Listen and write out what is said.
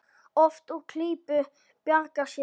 Oft úr klípu bjargar sér.